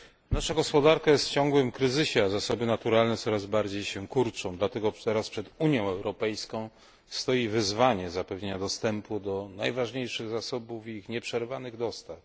Nasza gospodarka jest w ciągłym kryzysie, a zasoby naturalne coraz bardziej się kurczą, dlatego teraz przed Unią Europejską stoi wyzwanie zapewnienia dostępu do najważniejszych zasobów i ich nieprzerwanych dostaw.